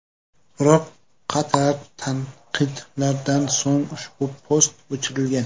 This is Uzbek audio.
Biroq, qator tanqidlardan so‘ng ushbu post o‘chirilgan.